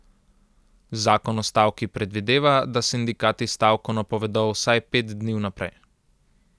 Zakon o stavki predvideva, da sindikati stavko napovedo vsaj pet dni vnaprej.